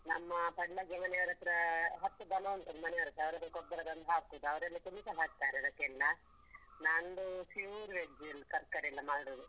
ನಮ್ಮ ಪಕ್ಕದ್ ಮನೆಯವ್ರ ಹತ್ರ ಹತ್ತು ದನ ಉಂಟು ಮನೆಯವ್ರತ್ರ ಅದರ ಗೊಬ್ಬರ ತಂದು ಹಾಕುದು ಅವರು chemical ಎಲ್ಲಹಾಕ್ತಾರೆ ಅದಕ್ಕೆಲ್ಲ ನಂದು pure veg ತರ್ಕಾರಿ ಎಲ್ಲ ಮಾಡುದು.